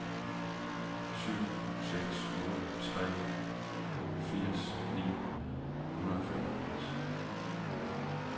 syv seks otte tre firs ni hundrede og femogfirs